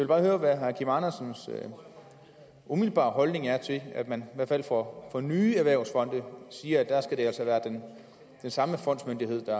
bare høre hvad herre kim andersens umiddelbare holdning er til at man i hvert fald for nye erhvervsfonde siger at der skal det altså være den samme fondsmyndighed